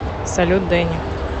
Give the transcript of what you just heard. салют дэнни